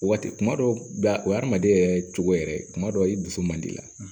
Waati kuma dɔw la o hadamaden yɛrɛ cogo yɛrɛ kuma dɔw i dusu man di i la